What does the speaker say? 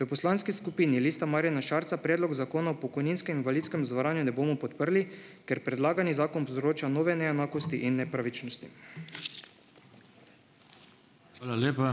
V poslanski skupini Lista Marjana Šarca predlog Zakona o pokojninskem in invalidskem zavarovanju ne bomo podprli, ker predlagani zakon povzroča nove neenakosti in nepravičnosti. Hvala lepa. ...